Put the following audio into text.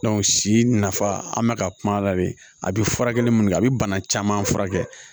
si nafa an bɛ ka kuma la de a bɛ furakɛli minnu kɛ a bɛ bana caman furakɛ